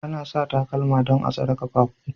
Ana sa takalma don a'tsare kaffafuwa.